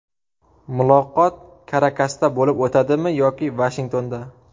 Muloqot Karakasda bo‘lib o‘tadimi yoki Vashingtonda?